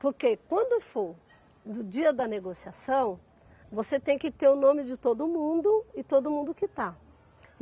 Porque quando for do dia da negociação, você tem que ter o nome de todo mundo e todo mundo que está.